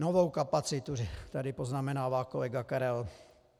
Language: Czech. Novou kapacitu tady poznamenává kolega Karel .